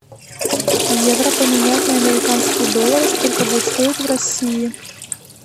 евро поменять на американские доллары сколько будет стоить в россии